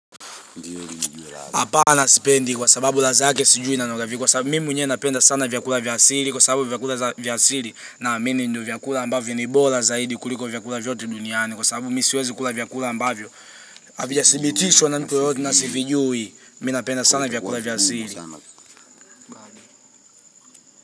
Hapana sipendi kwa sababu ladha yake sijui inanuka kwa sababu mimi mwenye napenda sana vyakula vya asili kwa sababu vyakula vya asili naamini ndiyo vyakula ambavyo ni bora zaidi kuliko vyakula vyote duniani. Kwa sababu mimi siwezi kula vyakula ambavyo havijasibitishwa na mtu yoyote nasivijui mimi napenda sana vyakula vya asili.